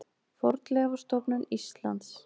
Fornleifastofnun Íslands.